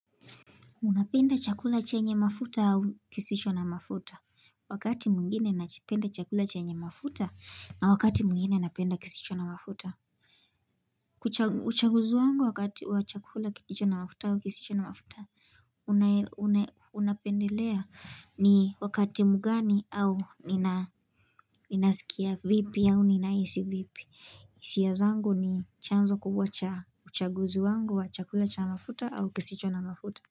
Unapenda chakula chenye mafuta au kisicho na mafuta? Wakati mwngine nakipenda chakula chenye mafuta na wakati mwngine napenda kisicho na mafuta. Uchaguzi wangu wakati wa chakula kilicho na mafuta au kisicho na mafuta, unapendelea, ni wakati mgani au ninasikia vipi au ninahisi vipi. Hisia zangu ni chanzo kubwa cha uchaguzi wangu wa chakula cha mafuta au kisicho na mafuta.